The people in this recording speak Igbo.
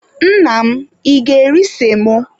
Nna m, ị ga-eri semo?